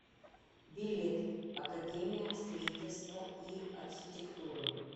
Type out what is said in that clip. билет академия строительства и архитектуры